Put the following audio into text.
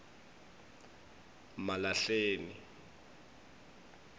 malahleni